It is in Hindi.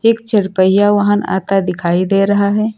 एक चर पहिया वाहन आता दिखाई दे रहा है।